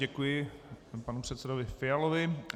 Děkuji panu předsedovi Fialovi.